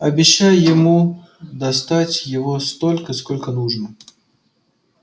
обещай ему достать его столько сколько нужно